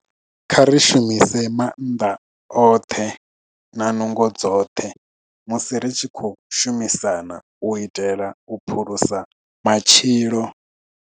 Kha ri shumise maanḓa oṱhe na nungo dzoṱhe musi ri tshi khou shumisana u itela u phulusa matshilo.